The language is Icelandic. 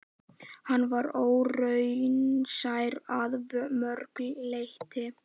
Hann var óraunsær að mörgu leyti.